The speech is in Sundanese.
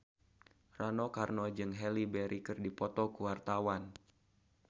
Rano Karno jeung Halle Berry keur dipoto ku wartawan